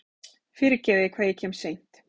Fyrirgefiði hvað ég kem seint.